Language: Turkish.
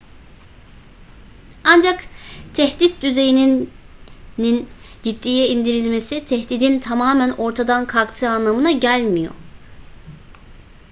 ancak tehdit düzeyinin ciddiye indirilmesi tehdidin tamamen ortadan kalktığı anlamına gelmiyor